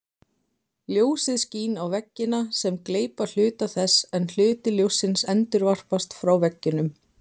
Ljósið skín á veggina sem gleypa hluta þess en hluti ljóssins endurvarpast frá veggjunum.